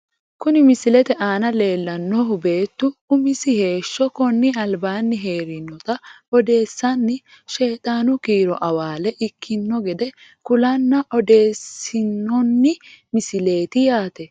Kuni misilete aana leellannohu beettu umisi heeshsho konni albaanni heerinota odeessanni sheexaanu kiiro awaale ikkino gede kulanna odeessinoonni misileeti yaate.